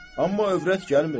Amma övrət gəlmir.